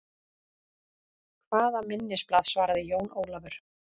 Hvaða minnisblað, svaraði Jón Ólafur.